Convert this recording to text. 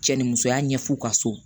Cɛ ni musoya ɲɛf'u ka so